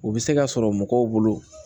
U bɛ se ka sɔrɔ mɔgɔw bolo